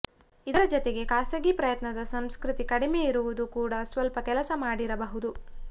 ಇದರ ಜತೆಗೆ ಖಾಸಗಿ ಪ್ರಯತ್ನದ ಸಂಸ್ಕೃತಿ ಕಡಿಮೆ ಇರುವುದು ಕೂಡ ಸ್ವಲ್ಪ ಕೆಲಸ ಮಾಡಿರಬಹುದು